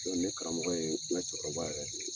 Ne karamɔgɔ ye n ka cɛkɔrɔba yɛrɛ ye.